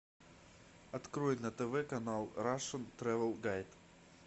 открой на тв канал рашн трэвел гайд